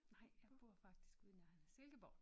Nej jeg bor faktisk i Silkeborg